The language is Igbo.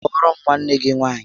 Kpọọrọ m nwanne gị nwaanyị!